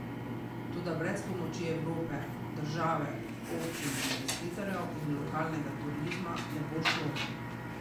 Toda brez pomoči Evrope, države, občine, investitorjev in lokalnega turizma ne bo šlo.